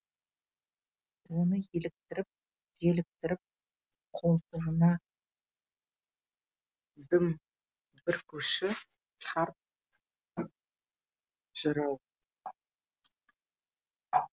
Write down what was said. оны еліктіріп желіктіріп қолтығына дым бүркуші қарт жырау